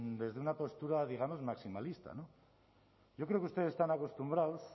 desde una postura digamos maximalista yo creo que ustedes están acostumbrados